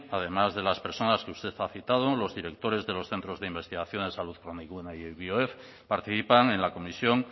además de las personas que usted ha citado los directores de los centros de investigación de salud planigune y bioef participan en la comisión